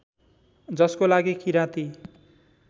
जसको लागि किराती